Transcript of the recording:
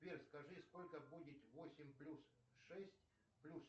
сбер скажи сколько будет восемь плюс шесть плюс